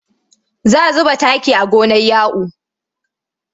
Za zuba taki a gonar Ya'u.